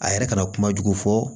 A yɛrɛ kana kuma jugu fɔ